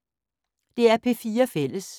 DR P4 Fælles